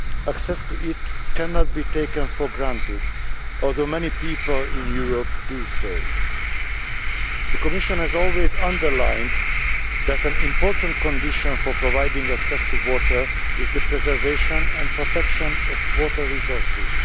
Access to it cannot be taken for granted, although many people in Europe do so. The Commission has always underlined that an important condition for providing access to water is the preservation and protection of water resources.